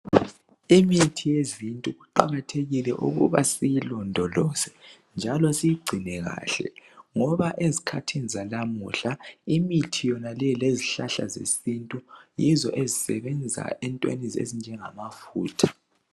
Imithi yezinto kuqakathekile ukuthi siyilondolozo njalo siyingcine kahle ngoba ezikhathini zalamuhla imithi yonaleyo lezihlahla zesintu yizo ezisebenza entweni ezinjengamafutha.